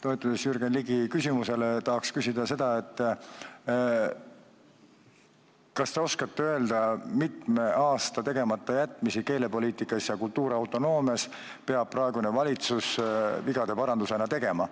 Toetudes Jürgen Ligi küsimusele, tahan küsida seda, kas te oskate öelda, kui mitme aasta tegematajätmistele keelepoliitikas ja kultuuriautonoomia küsimustes peab praegune valitsus vigade paranduse tegema.